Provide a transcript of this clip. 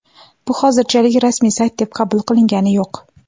Bu hozirchalik rasmiy sayt deb qabul qilingani yo‘q.